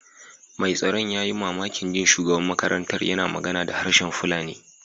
Mai tsaron ya yi mamakin jin shugaban makarantar yana magana da harshen Fulani.